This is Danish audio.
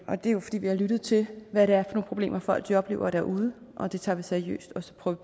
og det er jo fordi vi har lyttet til hvad det er for nogle problemer folk oplever derude og det tager vi seriøst og så prøver